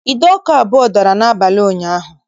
Ide ọkụ abụọ dara n'abalị ụnyaahụ